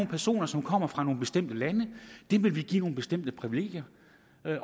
personer som kommer fra nogle bestemte lande dem vil vi give nogle bestemte privilegier